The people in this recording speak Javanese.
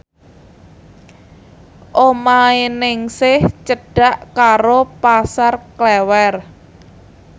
omahe Ningsih cedhak karo Pasar Klewer